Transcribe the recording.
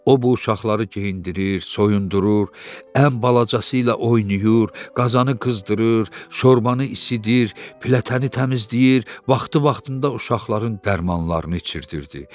O bu uşaqları geyindirir, soyundurur, ən balacası ilə oynayır, qazanı qızdırır, şorbanı isidir, filətəni təmizləyir, vaxtı-vaxtında uşaqların dərmanlarını içizdirirdi.